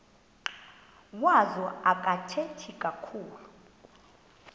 wazo akathethi kakhulu